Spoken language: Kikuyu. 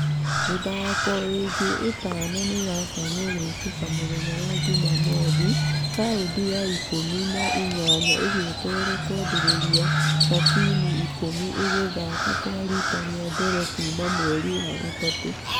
Mĩthako ĩngĩ ithano nĩiratanywo gũĩkĩka mũthenya wa jumamothi , raundi ya ikũmi na inyanya ĩgĩetererwo kũambĩrĩria na timũ ikũmi igĩthakakwarita rĩa mbere kuuma mweri wa gatatũ.